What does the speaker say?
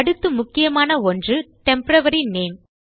அடுத்து முக்கியமான ஒன்று டெம்போரரி நேம்